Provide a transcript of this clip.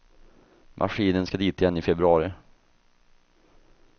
Maskinen ska dit igen i februari.